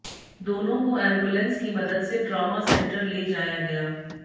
दोनों को एम्बुलेंस की मदद से ट्रॉमा सेंटर ले जाया गया